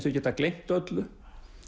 þau geta gleymt öllu